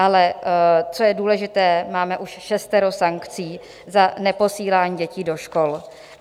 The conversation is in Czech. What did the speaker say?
Ale co je důležité, máme už šestero sankcí za neposílání dětí do škol.